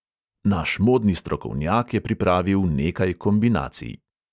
Naš modni strokovnjak je pripravil nekaj kombinacij.